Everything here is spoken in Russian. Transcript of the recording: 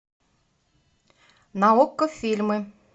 на окко фильмы